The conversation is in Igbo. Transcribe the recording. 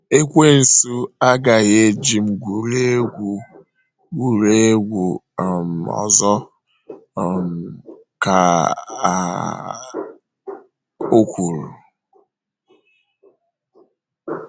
“ Ekwensu agaghị eji m gwurie egwu gwurie egwu um ọzọ um, ” ka o um kwuru.